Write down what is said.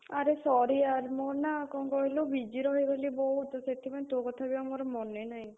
ଆରେ sorry यार्‌ ମୁଁ ନା କଣ କହିଲୁ busy ରହିଗଲି ବହୁତ୍ ସେଥିପାଇଁ ତୋ କଥା ବି ଆଉ ମୋର ମନେ ନାହିଁ।